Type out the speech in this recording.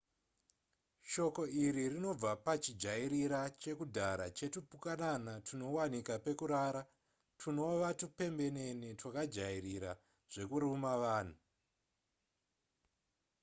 shoko iri rinobva pachijairira chakudhara chetupukanana tunowanika pekurara twunova tupembenene twakajairira zvekuruma vanhu